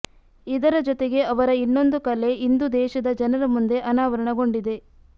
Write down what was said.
ಇದರ ಜೊತೆಗೆ ಅವರ ಇನ್ನೊಂದು ಕಲೆ ಇಂದು ದೇಶದ ಜನರ ಮುಂದೆ ಅನಾವರಣಗೊಂಡಿದೆ